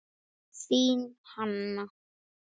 Þín Hanna.